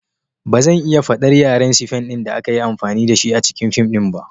Ba zan iya fahimtar yaren Sifen da aka yi amfani da shi a cikin fim ɗin ba.